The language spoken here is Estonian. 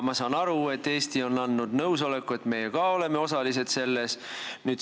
Ma saan aru, et Eesti on andnud nõusoleku, et meie ka oleme selles osalised.